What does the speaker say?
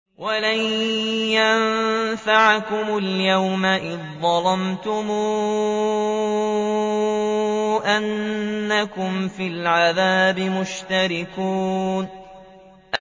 وَلَن يَنفَعَكُمُ الْيَوْمَ إِذ ظَّلَمْتُمْ أَنَّكُمْ فِي الْعَذَابِ مُشْتَرِكُونَ